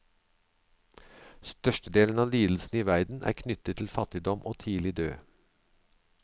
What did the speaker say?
Størstedelen av lidelsene i verden er knyttet til fattigdom og tidlig død.